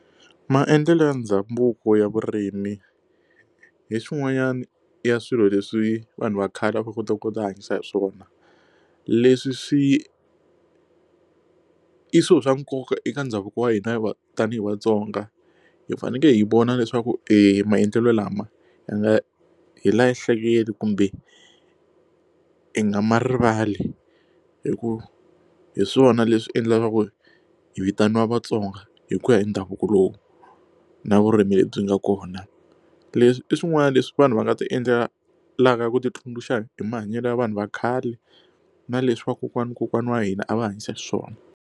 Maendlelo ya ndhavuko ya vurimi hi swin'wanyani ya swilo leswi vanhu va khale a va kota ku ti hanyisa hi swona leswi swi i swilo swa nkoka eka ndhavuko wa hina tanihi vatsonga hi fanekele hi vona leswaku e maendlelo lama ya nga hi kumbe i nga ma rivali hi ku hi swona leswi endlaka hi vitaniwa Vatsonga hi ku ya hi ndhavuko lowu na vurimi lebyi nga kona leswi i swin'wana leswi vanhu va nga ti endlelaka ku ti tsundzuxa hi mahanyelo ya vanhu va khale na leswi vakokwani wa kokwana wa hina a va hanyisa swona.